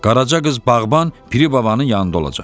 Qaraca qız bağban Piri babanın yanında olacaq."